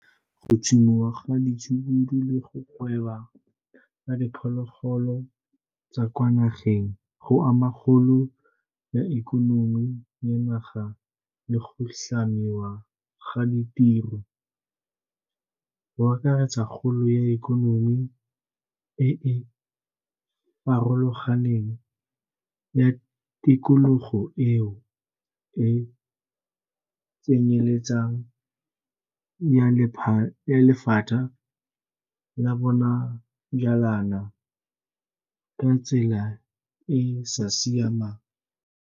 Go tsomiwa ga ditshukudu le go gweba ka diphologolo tsa kwa nageng go ama kgolo ya ikonomi ya naga le go tlhamiwa ga ditiro, go akaretsa kgolo ya ikonomi e e farologaneng ya tikologo eo e tsenyeletsang ya lephata la bonajanala ka tsela e e sa siamang.